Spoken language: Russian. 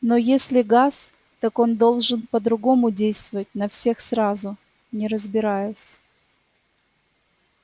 но если газ так он должен по-другому действовать на всех сразу не разбираясь